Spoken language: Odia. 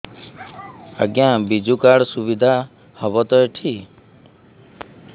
ଆଜ୍ଞା ବିଜୁ କାର୍ଡ ସୁବିଧା ହବ ତ ଏଠି